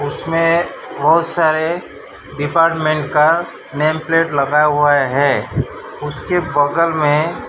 उसमें बहुत सारे डिपार्टमेंट का नेम प्लेट लगा हुआ है उसके बगल में।